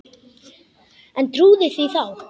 En trúði því þá.